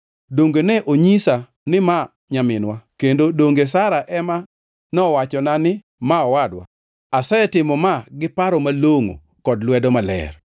Donge ne onyisa ni ma nyaminwa; kendo donge Sara ema nowachona ni ma owadwa? Asetimo ma giparo malongʼo kod lwedo maler.”